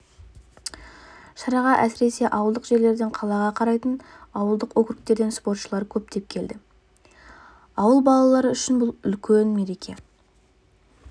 шараға әсіресе ауылдық жерлерден қалаға қарайтын ауылдық округтерден спортшылар көптеп келді ауыл балалары үшінбұл үлкен мереке